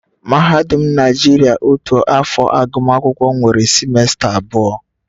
Mahadum Naijiria otu afọ agụmakwụkwọ nwere simesta abụọ